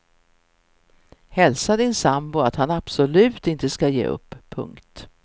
Hälsa din sambo att han absolut inte ska ge upp. punkt